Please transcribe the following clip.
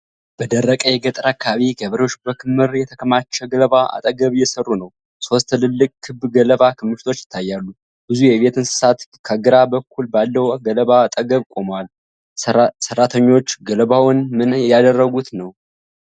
በደረቅ የገጠር አካባቢ ገበሬዎች በክምር የተከማቸ ገለባ አጠገብ እየሠሩ ነው። ሦስት ትላልቅ ክብ ገለባ ክምችቶች ይታያሉ። ብዙ የቤት እንስሳት ከግራ በኩል ባለው ገለባ አጠገብ ቆመዋል። ሰራተኞቹ ገለባውን ምን እያደረጉ ነው?